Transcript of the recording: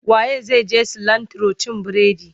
Wa ye zai je cilantro cin bredi?